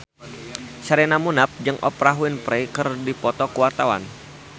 Sherina Munaf jeung Oprah Winfrey keur dipoto ku wartawan